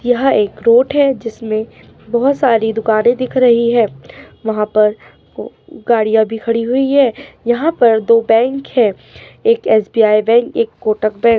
यह एक रोड है जिसमे बहुत सारी दुकानें दिख रही हैं। वहा पर गाड़िया भी खड़ी हुई है। यह पर दो बैंक है। एक एस.बी.आई. बैंक एक कोटक बैंक --